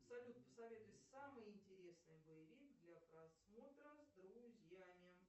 салют посоветуй самый интересный боевик для просмотра с друзьями